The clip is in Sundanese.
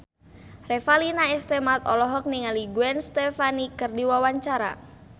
Revalina S. Temat olohok ningali Gwen Stefani keur diwawancara